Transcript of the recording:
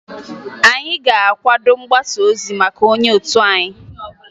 Anyị ga-akwado mgbasaozi maka onye otu anyị